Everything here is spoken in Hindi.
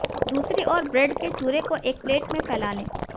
दूसरी ओर ब्रेड के चूरे को एक प्लेट पर फैला लें